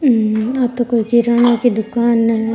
हम्म आ तो कोई किराणा की दुकान है।